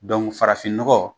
Dɔnku farafin nɔgɔ